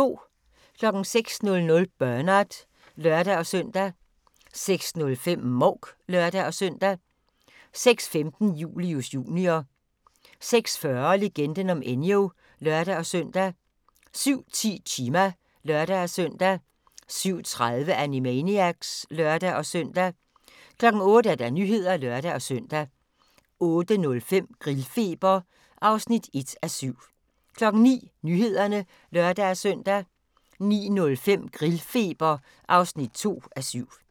06:00: Bernard (lør-søn) 06:05: Mouk (lør-søn) 06:15: Julius Jr. 06:40: Legenden om Enyo (lør-søn) 07:10: Chima (lør-søn) 07:30: Animaniacs (lør-søn) 08:00: Nyhederne (lør-søn) 08:05: Grillfeber (1:7) 09:00: Nyhederne (lør-søn) 09:05: Grillfeber (2:7)